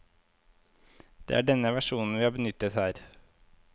Det er denne versjonen vi har benyttet her.